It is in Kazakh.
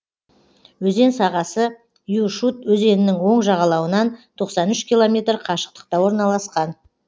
өзен сағасы юшут өзенінің оң жағалауынан тоқсан үш километр қашықтықта орналасқан